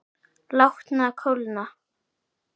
Látnar kólna.